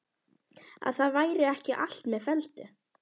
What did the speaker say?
Að það væri ekki allt með felldu.